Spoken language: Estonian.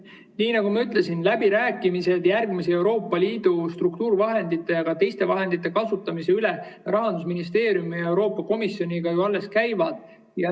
Nii nagu ma ütlesin, läbirääkimised järgmiste Euroopa Liidu struktuurivahendite ja teiste vahendite kasutamise üle Rahandusministeeriumi ja Euroopa Komisjoniga ju alles käivad.